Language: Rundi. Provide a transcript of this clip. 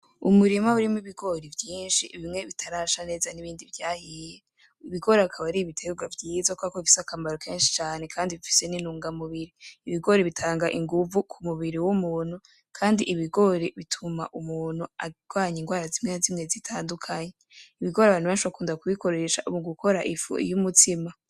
Umurima urimwo ibigori vyinshi bimwe bitarasha neza ibindi vyahiye, ibigori bikaba ari ibitegwa vyiza kubera ko bifise akamaro kenshi cane Kandi bifise n’intungamubiri , ibigori bitanga inguvu ku mubiri w ‘umuntu kandi ibigori bituma Umunyu agwanya indwara zimwe zimwe zitandukanye , ibigori abantu benshi bakunda ku bikoresha mu gukora ifu y’umutsima.